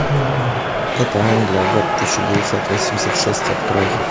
это англия год тысяча девятьсот восемьдесят шесть открой